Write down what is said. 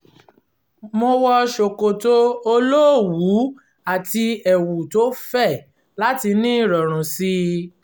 mo wọ ṣòkòtò olówùú àti ẹ̀wù tó fẹ̀ láti ní ìrọ̀rùn sí i